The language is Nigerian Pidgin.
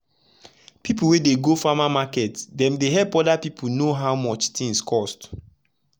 people wey dey go farmer market dem dey help oda piple know how much tins cost.